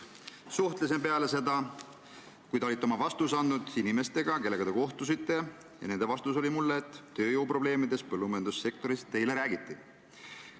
" Suhtlesin peale seda, kui te olite oma vastuse andnud, inimestega, kellega te kohtusite, ja nende vastus mulle oli, et tööjõuprobleemidest põllumajandussektoris teile räägiti.